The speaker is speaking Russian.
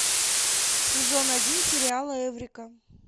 сезон один сериала эврика